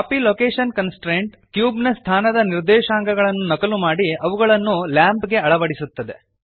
copy location constraint ಕ್ಯೂಬ್ನ ಸ್ಥಾನದ ನಿರ್ದೇಶಾಂಕಗಳನ್ನು ನಕಲು ಮಾಡಿ ಅವುಗಳನ್ನು ಲ್ಯಾಂಪ್ ಗೆ ಅಳವಡಿಸುತ್ತದೆ